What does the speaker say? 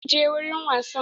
Kar ki je wurin wasan!